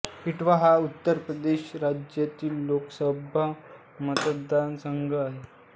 इटावा हा उत्तर प्रदेश राज्यातील लोकसभा मतदारसंघ आहे